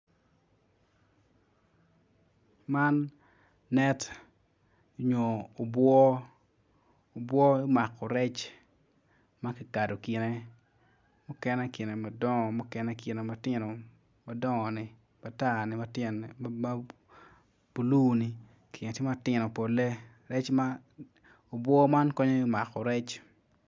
Man net onyo obwor obwor mako rec makikado kine, mukene kine madongo mukene kine matino madongo ne matar ne matyene blue ni tyene tye matino pole obwor man konyo me mako rec.